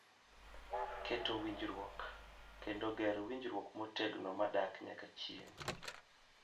Keto winjruok, kendo ger winjruok motegno kendo madak nyaka chieng'.